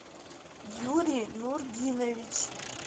юрий нурдинович